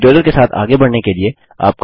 tutorial के साथ आगे बढ़ने के लिए